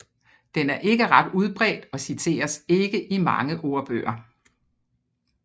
Den er ikke ret udbredt og citeres ikke i mange ordbøger